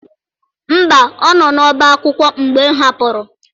Mba, ọ nọ n'ọbá akwụkwọ mgbe m hapụrụ.